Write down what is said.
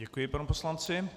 Děkuji panu poslanci.